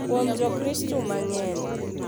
Kuom Jokristo mang’eny.